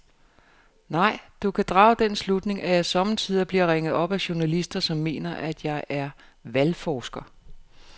Nej, du kan drage den slutning, at jeg sommetider bliver ringet op af journalister, som mener, at jeg er valgforsker.